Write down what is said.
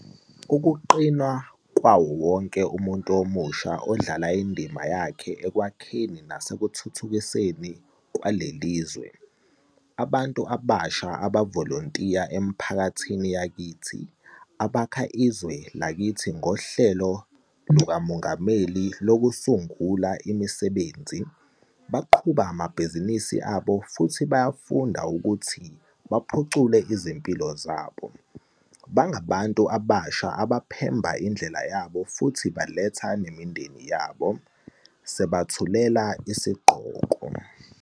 .ukuqina kwawo wonke umuntu omusha odlala indima yakhe ekwakheni nasekuthuthukiseni leli lizwe. Abantu abasha abavolontiya emiphakathini yakithi, abakha izwe lakithi ngoHlelo lukaMongameli Lokusungula Imisebenzi, baqhuba amabhizinisi abo futhi bayafunda ukuthi baphucule izimpilo zabo. Bangabantu abasha abaphemba indlela yabo futhi baletha nemindeni yabo. Sethulela isigqoko.